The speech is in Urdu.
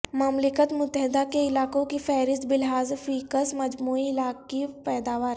مملکت متحدہ کے علاقوں کی فہرست بلحاظ فی کس مجموعی علاقائی پیداوار